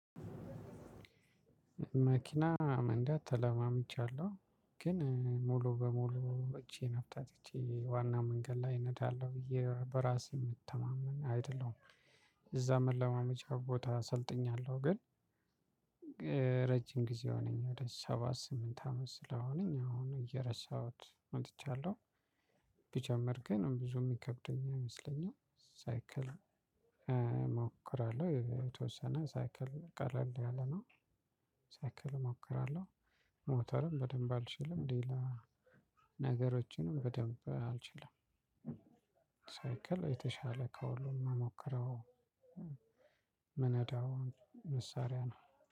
መኪና መንዳት ተለማምጃለሁ ግን ሙሉ በሙሉ እጄን አፍታትቼ ዋና መንገድ ላይ እነዳለሁ ብዬ በራሴ የምተማመን አይደለሁም። እዛ መለማመጃ ቦታ ሰልጥኛለሁ ግን። ረጅም ጊዜ ሆነኝ ወደ ሰባት ስምንት አመት ስለሆነኝ አሁን እየረሳሁት መጥቻለሁ። ብጀመር ግን ብዙ የሚከብደኝ አይመስለኝም። ሳይክል እሞክራለሁ የተወሰነ ሳይክል ቀለል ያለ ነው። ሳይክል እሞክራለሁ ሞተርም በደንብ አልችልም። ሌላ ነገሮችንም በደንብ አልችልም። ሳይክል የተሻለ ከሁሉም ምሞከረው። የምነዳው መሳሪያ ነው።